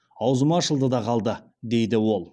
аузым ашылды да қалды дейді ол